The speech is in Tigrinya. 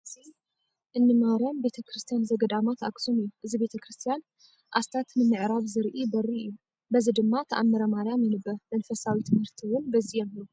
እዚ እንማርያም ቤተክርስትያ ዘገዳማት ኣክሱም እዩ ። እዚ ቤተክርስትያን ኣስታት ንምዕራብ ዝርኢ በሪ እዩ። በዚ ድማ ተኣምረማርያም ይንበብ ። መንፈሳዊ ትምህርቲ እውን በዚ የምህሩ።